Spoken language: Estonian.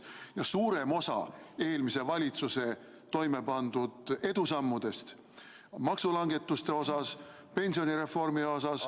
Ja suurem osa eelmise valitsuse edusammudest maksulangetuste osas, pensionireformi osas ...